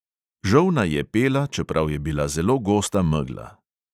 Žolna je pela, čeprav je bila zelo gosta megla.